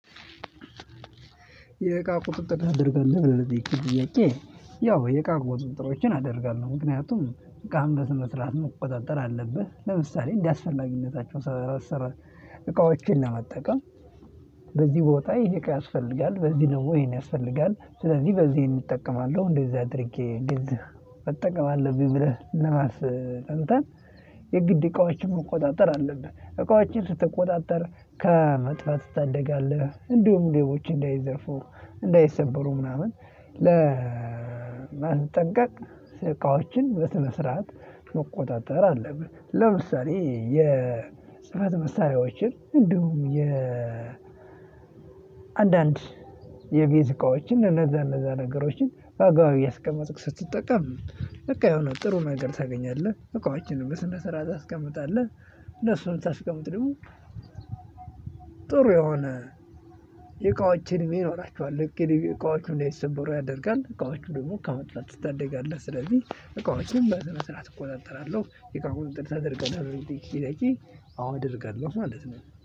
የእቃ ቁጥጥር ታደርጋለህ ለሚለው ጥያቄ ያው የእቃ ቁጥጥር አደርጋለሁ። ምክንያቱም እቃን በስነሥርዓት መቆጣጠር አለብህ ለምሳሌ እንዳስፈላግነታቸው አስራር እቃዎችን ለመጠቀም። በዚህ ቦታ ይሄ እቃ ያስፈልጋል በዚህ ነው ወይን ያስፈልጋል ስለዚህ በዚህ እጠቀማለሁ። እንደዚህ አድርጌ ግድ መጠቀም አለብኝ። ብለህ ለማስ እንትን የግድ እቃዎችን መቆጣጠር አለብህ። እቃዎችን ስትቆጣጠር ከመጥፋት ትታደጋለህ እንዲሁም ሌቦችን እንዳይዘርፉ እንዳይሰበሩ ምናምን ለማስጠንቀቅ እቃዎችን በስነ ስርዓት መቆጣጠር አለብህ። ለምሳሌ የጽህፈት መሳሪያዎችን እንዲሁም የ አንዳንድ የቤት እቃዎችን እነዛ እነዛ ነገሮችን በአግባቡ እያስቀመጥክ ስትጠቀም በቃ የሆነ ጥሩ ነገር ታገኛለህ። እቃዎችንም በስነ ስርዓት ታስቀምጣለህ። እነሱን ስታስቀምጥ ደግሞ ጥሩ የሆነ የእቃዎችን ይኖራችኋል እኮ የእቃዎቹን እንዳይሰበሩ ያደርጋል እቃዎቹ ደግሞ ከመጥፋት ትታደጋለህ። ስለዚህ እቃዎችን በስነ ስርዓት እቆጣጠራለሁ። የቀረበውን እንትን ታደርጋለሁ እንዴ ለሚለው ጥያቄ? አዎ እደርጋለሁ ማለት ነው